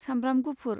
साम्ब्राम गुफुर